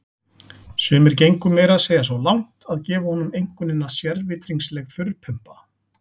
Sumir gengu meira að segja svo langt að gefa honum einkunnina sérvitringsleg þurrpumpa.